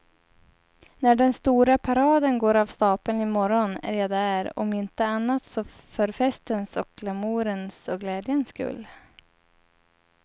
När den stora paraden går av stapeln i morgon är jag där, om inte annat så för festens och glamourens och glädjens skull.